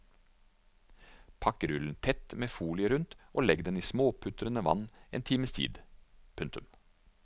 Pakk rullen tett med folien rundt og legg den i småputrende vann en times tid. punktum